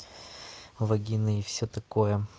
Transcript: вагины и всё такое